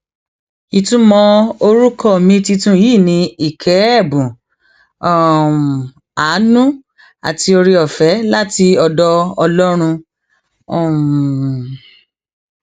ìtumọ orúkọ mi tuntun yìí ni ike ẹbùn um àánú àti ooreọfẹ láti ọdọ ọlọrun um